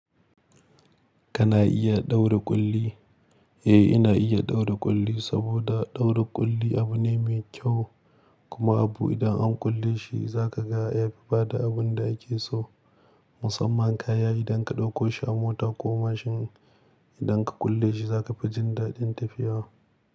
Kana iya ɗaura ƙulli? Eh, ina iya ɗaura ƙulli, saboda ɗaura ƙulli abu ne mai kyau. Kuma abu idan an kulle shi za ka ga ya fi bada abun da ake so. Musamman kaya idan ka ɗauko shi a mota ko mashin, idan ka kulle shi zaka fi jin daɗin tafiya.